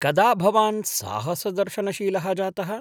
कदा भवान् साहसदर्शनशीलः जातः ?